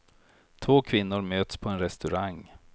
Två kvinnor möts på en restaurang.